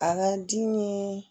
A ka di ni